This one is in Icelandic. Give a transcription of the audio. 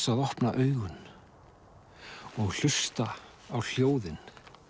að opna augun og hlusta á hljóðin